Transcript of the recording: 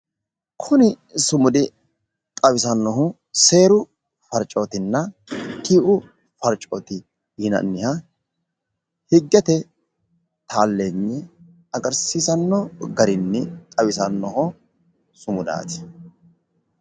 Kuni sumudi xawisanohu seeru farcotenna, Tii'u farcote yineemmo sumudati